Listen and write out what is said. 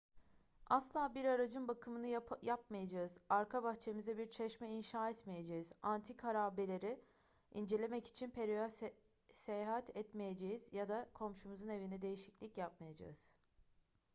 asla bir aracın bakımını yapmayacağız arka bahçemize bir çeşme inşa etmeyeceğiz antik harabeleri incelemek için peru'ya seyahat etmeyeceğiz ya da komşumuzun evinde değişiklik yapmayacağız